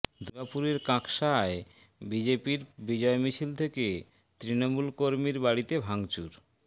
দুর্গাপুরের কাঁকসায় বিজেপির বিজয় মিছিল থেকে তৃণমূল কর্মীর বাড়িতে ভাঙচুর